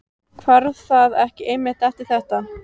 Hvarf það ekki einmitt eftir þetta?